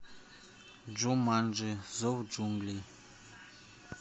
джуманджи зов джунглей